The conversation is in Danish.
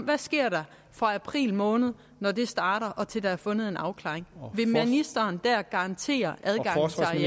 der sker fra april måned når det starter og frem til der er fundet en afklaring vil ministeren der garantere